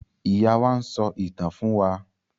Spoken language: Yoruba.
Ìyá wá n sọ ìtàn fún wà